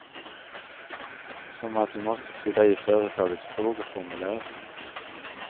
Som att du måste fylla i företagets frågeformulär.